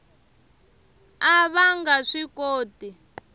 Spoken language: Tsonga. a va nga swi koti